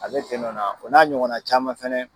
Ale o n'a ɲɔgɔnna caman fana